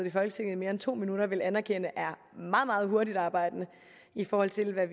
i folketinget mere end to minutter vil anerkende er meget meget hurtigtarbejdende i forhold til hvad